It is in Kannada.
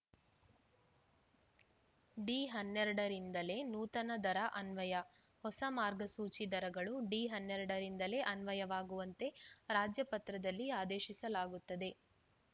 ಡಿ ಹನ್ನೆರಡರಿಂದಲೇ ನೂತನ ದರ ಅನ್ವಯ ಹೊಸ ಮಾರ್ಗಸೂಚಿ ದರಗಳು ಡಿ ಹನ್ನೆರಡರಿಂದಲೇ ಅನ್ವಯವಾಗುವಂತೆ ರಾಜ್ಯಪತ್ರದಲ್ಲಿ ಆದೇಶಿಸಲಾಗುತ್ತದೆ